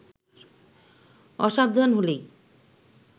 অসাবধান হলেই